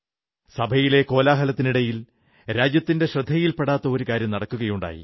സഭയിലെ കോലാഹലത്തിനിടയിൽ രാജ്യത്തിന്റെ ശ്രദ്ധയിൽ പെടാഞ്ഞ ഒരു കാര്യം നടക്കുകയുണ്ടായി